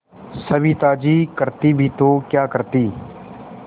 सविता जी करती भी तो क्या करती